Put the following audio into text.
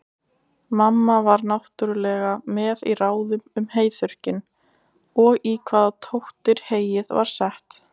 Mamma var náttúrlega með í ráðum um heyþurrkinn, og í hvaða tóttir heyið var sett.